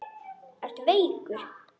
Ertu veikur?